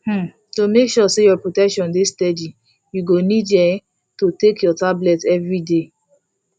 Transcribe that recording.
um to make sure say your protection dey steady you go need need um to dey take your tablet everyday